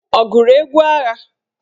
Ọ gụrụ egwu agha?